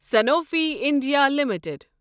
Sanofi India limited